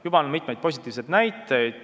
Juba on mitmeid positiivseid näiteid.